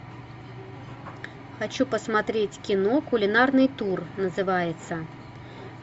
хочу посмотреть кино кулинарный тур называется